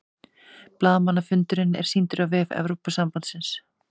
Blaðamannafundurinn er sýndur á vef Evrópusambandsins